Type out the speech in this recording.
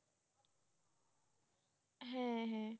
হ্যাঁ।